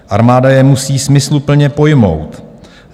Armáda je musí smysluplně pojmout.